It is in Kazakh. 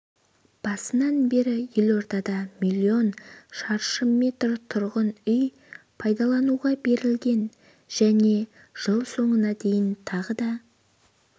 басынан бері елордада миллион шаршы метр тұрғын үй пайдалануға берілген және жылсоңына дейін тағы да